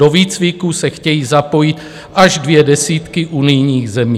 Do výcviku se chtějí zapojit až dvě desítky unijních zemí.